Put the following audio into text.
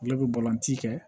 Olu bɛ balonti kɛ